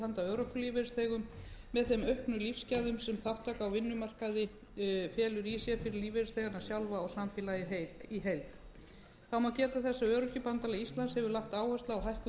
örorkulífeyrisþegum með þeim auknu lífsgæðum sem þátttaka á vinnumarkaði felur í sér fyrir lífeyrisþegana sjálfa og samfélagið í heild þá má geta þess að öryrkjabandalag íslands hefur lagt áherslu á hækkun